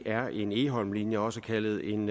er en egholmlinje også kaldet en